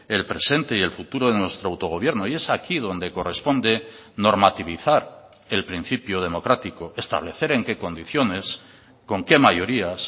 el presente y el futuro de nuestro autogobierno y es aquí donde corresponde normativizar el principio democrático establecer en qué condiciones con qué mayorías